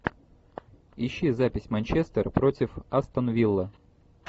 ищи запись манчестер против астон виллы